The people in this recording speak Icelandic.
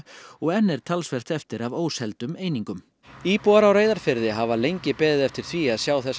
og enn er talsvert eftir af einingum íbúar á Reyðarfirði hafa lengi beðið eftir því að sjá þessa